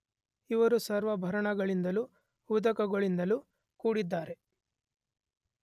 ಇವರು ಸರ್ವಾಭರಣಗಳಿಂದಲೂ ಉದಕಗಳಿಂದಲು ಕೂಡಿದ್ದಾರೆ.